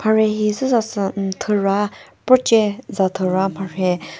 rhe hi züsa sü ummm thüra proche za thüra za mharhe--